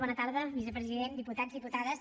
bona tarda vicepresident diputats diputades